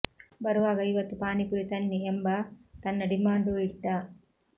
ಬರುವಾಗ ಇವತ್ತು ಪಾನಿ ಪುರಿ ತನ್ನಿ ಎಂಬ ತನ್ನ ಡಿಮಾಂಡೂ ಇಟ್ಟ